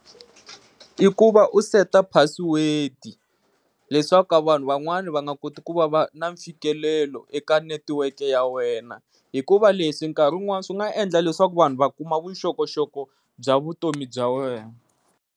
I ku va u seta password leswaku vanhu van'wani va nga koti ku va va na mfikelelo eka netiweke ya wena hikuva leswi nkarhi un'wana swi nga endla leswaku vanhu va kuma vuxokoxoko bya vutomi bya wena.